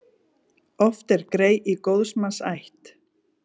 Oft er grey í góðs manns ætt.